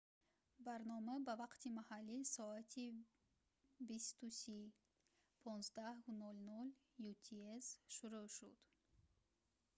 барнома ба вақти маҳаллӣ соати 20:30 15:00 utc шурӯъ шуд